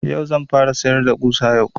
Yau zan fara sayar da ƙusa yau